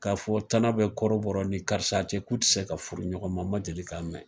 Ka fɔ ko tana be kɔrɔbɔrɔ ni karisa cɛ k'u te se ka furu ɲɔgɔn ma, n ma deli ka mɛn.